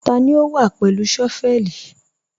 Tani o wá pẹ̀lú shọ́vẹ̀lì?